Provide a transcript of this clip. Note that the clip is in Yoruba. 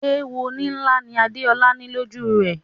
Èwo nílá ni Adéolá ní lọ́jú rẹ̀.